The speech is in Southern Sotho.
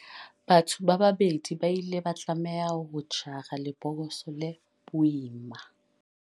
batho ba babedi ba ile ba tlameha ho jara lebokose le boima